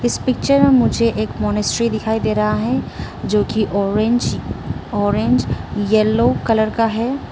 इस पिक्चर मुझे एक मॉनेस्ट्री दिखाई दे रहा है जो की ऑरेंज ऑरेंज येलो कलर का है।